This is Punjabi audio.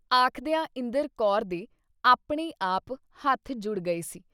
ਆਖਦਿਆਂ ਇੰਦਰ ਕੌਰ ਦੇ ਆਪਣੇ-ਆਪ ਹੱਥ ਜੁੜ ਗਏ ਸੀ।